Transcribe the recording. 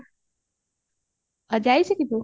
ଆଉ ଯାଇଚୁ କି ତୁ